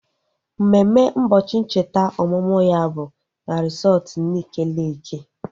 Mmemme ụbọchị ncheta ọmụmụ ya bụ na resọtu Nike Leeki